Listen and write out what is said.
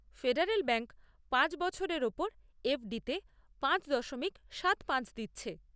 Federal Bank পাঁচ বছরের ওপর এফ ডি তে পাঁচ দশমিক সাত পাঁচ দিচ্ছে।